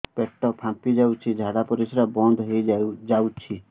ପେଟ ଫାମ୍ପି ଯାଉଛି ଝାଡା ପରିଶ୍ରା ବନ୍ଦ ହେଇ ଯାଉଛି